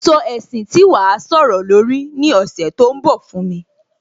Sọ ẹ̀sìn tí wàá sọ̀rọ̀ lórí ní ọ̀sẹ̀ tó ń bọ̀ fún mi